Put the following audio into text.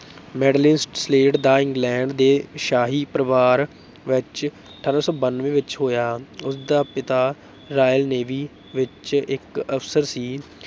Madeleine Slade ਦਾ England ਦੇ ਸ਼ਾਹੀ ਪਰਵਾਰ ਵਿੱਚ ਅਠਾਰਾਂ ਸੌ ਬਾਨਵੇਂ ਵਿੱਚ ਹੋਇਆ, ਉਸ ਦਾ ਪਿਤਾ royal ਨੇਵੀ ਵਿੱਚ ਇੱਕ ਅਫ਼ਸਰ ਸੀ।